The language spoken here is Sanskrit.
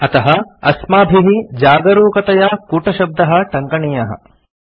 अतः अस्माभिः जागरूकतया कूटशब्दः टङ्कनीयः